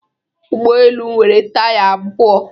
Ụgbọ elu nwere taya abụọ.